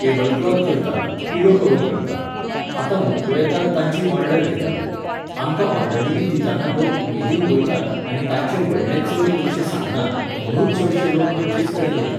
Tablecloth करता, pillow cover करता. आतां व्हंकलो येतात तांची ऑर्डर घेतात. आमकां ऑर्डरी बी दिताना लोक उमेदीन वयतात आनी तांचे व्हडले चड पयशे सांगनात म्हणून चडशे लोक आमचेच कडेन येतात